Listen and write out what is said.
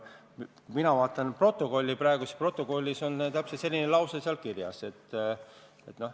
Mina vaatan praegu protokolli ja seal on täpselt selline lause kirjas.